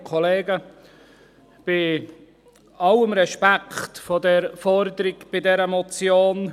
Bei allem Respekt vor der Forderung dieser Motion: